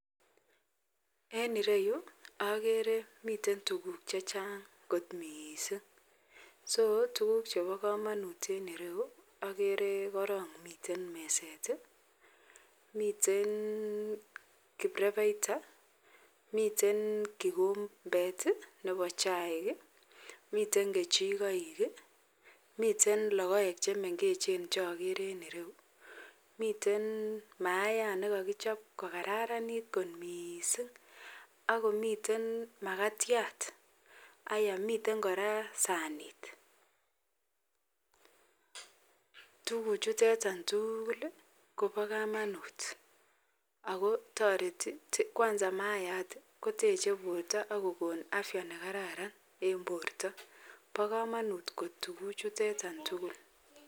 En iroyu agere miten tuguk chechang kot mising ako kit Nebo kamanut agere komiten meset, miten kibrebeita miten kikombet Nebo chaik ,miten kechikoik ,miten logoek chemengechen en ireyu ako miten mayat nekakichob kokararanit kot mising akomiten makatiat akomiten koraa sanit ? Tuguk chutetan tugul Koba kamanut akotareti koteche borta akokonu afya nekararan en borta akobo kamanut kot tuguk chutetan